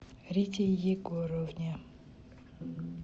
рите егоровне